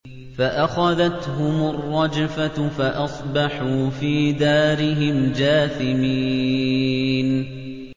فَأَخَذَتْهُمُ الرَّجْفَةُ فَأَصْبَحُوا فِي دَارِهِمْ جَاثِمِينَ